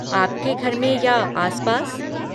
आपके घर में या आस पास?